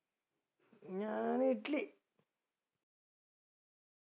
ഞാൻ ഇഡ്ലി